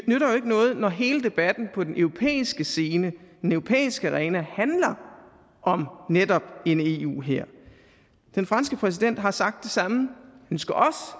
ikke noget når hele debatten på den europæiske scene den europæiske arena handler om netop en eu hær den franske præsident har sagt det samme